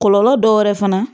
Kɔlɔlɔ dɔ wɛrɛ fana